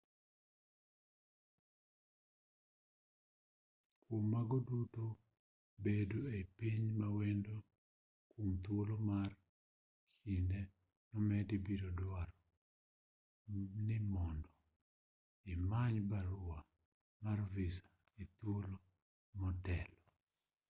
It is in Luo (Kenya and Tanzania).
kwom mago duto bedo ei piny mawendo kwom thuolo mar kinde momedi biro duaro ni mondo imany barua mar visa e thuolo motelo